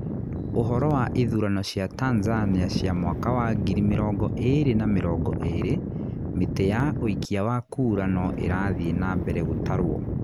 Ũhoro wa ithurano cia Tanzania cia mwaka wa ngiri mirongo ĩĩr na mĩrongo ĩĩrĩ: Mĩtĩ ya ũikia wa kura no ĩrathiĩ na mbere gũtarũo.